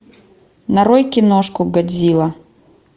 нарой киношку годзилла